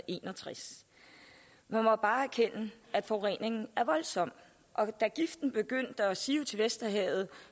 en og tres man må bare erkende at forureningen er voldsom da giften begyndte at sive til vesterhavet